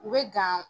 U bɛ gan